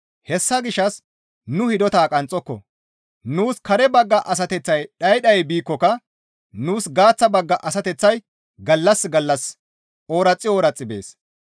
Hessa gishshas nu hidota qanxxoko; nuus kare bagga asateththay dhayi dhayi biikkoka nuus gaaththa bagga asateththay gallas gallas ooraxi ooraxi bees.